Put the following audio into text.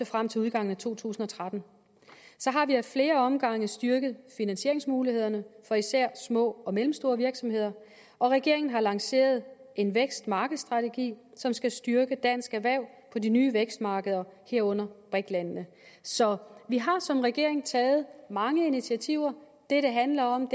frem til udgangen af to tusind og tretten så har vi af flere omgange styrket finansieringsmulighederne for især små og mellemstore virksomheder og regeringen har lanceret en vækstmarkedsstrategi som skal styrke danske erhverv på de nye vækstmarkeder herunder brik landene så vi har som regering taget mange initiativer det det handler om